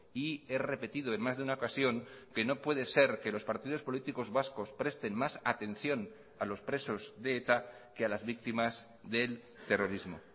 y he repetido en más de una ocasión que no puede ser que los partidos políticos vascos presten más atención a los presos de eta que a las víctimas del terrorismo